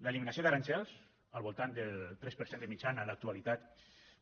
l’eliminació d’aranzels al voltant del tres per cent de mitjana en l’actualitat